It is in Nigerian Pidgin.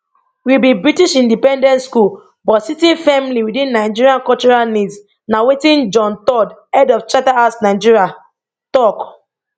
we be british independent school but sitting firmly witin nigerian cultural needs na wetin john todd head of charterhouse nigeria tok